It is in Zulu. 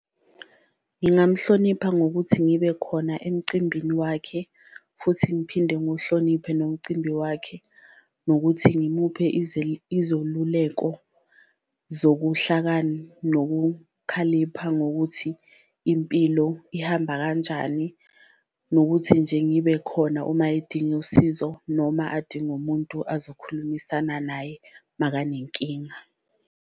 Ngingamhlonipha ngokuthi ngibe khona emcimbini wakhe futhi ngiphinde ngiwuhloniphe nomcimbi wakhe, nokuthi ngimuphe izoluleko zokuhlakani nokukhalipha ngokuthi impilo ihamba kanjani. Nokuthi nje ngibe khona uma edinga usizo noma adinga umuntu azokhulumisana naye makanenkinga.